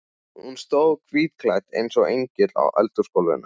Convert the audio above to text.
Hún stóð hvítklædd eins og engill á eldhúsgólfinu.